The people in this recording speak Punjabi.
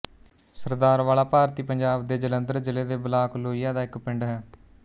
ਸਰਦਾਰਵਾਲਾ ਭਾਰਤੀ ਪੰਜਾਬ ਦੇ ਜਲੰਧਰ ਜ਼ਿਲ੍ਹੇ ਦੇ ਬਲਾਕ ਲੋਹੀਆਂ ਦਾ ਇੱਕ ਪਿੰਡ ਹੈ